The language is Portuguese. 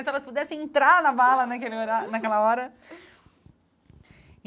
Se elas pudessem entrar na mala naquele naquela hora.